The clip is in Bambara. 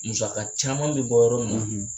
Musaka caman bɛ bɔ yɔrɔ min na